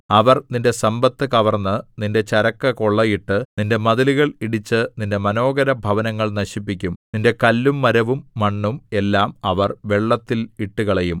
അവർ നിന്റെ സമ്പത്ത് കവർന്ന് നിന്റെ ചരക്കു കൊള്ളയിട്ട് നിന്റെ മതിലുകൾ ഇടിച്ച് നിന്റെ മനോഹരഭവനങ്ങൾ നശിപ്പിക്കും നിന്റെ കല്ലും മരവും മണ്ണും എല്ലാം അവർ വെള്ളത്തിൽ ഇട്ടുകളയും